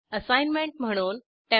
assignment म्हणून 1